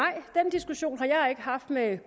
har været